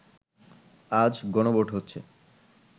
আজ গণভোট হচ্ছে